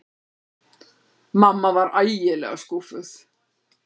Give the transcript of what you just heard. Mamma var ægilega skúffuð.